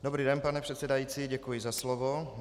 Dobrý den, pane předsedající, děkuji za slovo.